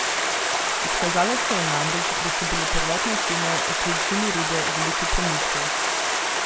Izkazalo se je namreč, da so bile prvotne ocene o količini rude veliko prenizke.